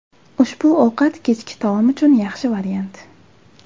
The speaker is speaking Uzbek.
Ushbu ovqat kechki taom uchun yaxshi variant.